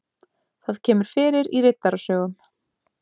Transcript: Það kemur fyrir í Riddarasögum.